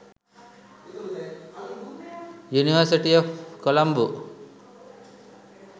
university of colombo